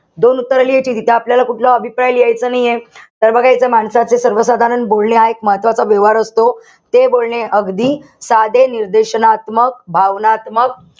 दोन उत्तरं लिहायचीये. इथे आपल्याला कुठला अभिप्राय लिहायचा नाहीये. तर बघा इथे माणसाचे सर्वसाधारण बोलणे हा एक महत्वाचा व्यवहार असतो. ते बोलणे अगदी साधे, निर्देशनात्मक, भावनात्मक,